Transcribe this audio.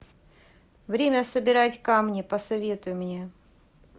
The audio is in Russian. время собирать камни посоветуй мне